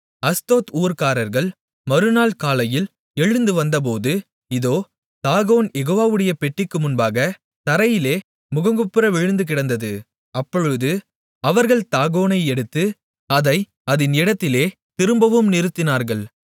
Ashdod ஊர்க்காரர்கள் மறுநாள் காலையில் எழுந்து வந்தபோது இதோ தாகோன் யெகோவாவுடைய பெட்டிக்கு முன்பாகத் தரையிலே முகங்குப்புற விழுந்துகிடந்தது அப்பொழுது அவர்கள் தாகோனை எடுத்து அதை அதின் இடத்திலே திரும்பவும் நிறுத்தினார்கள்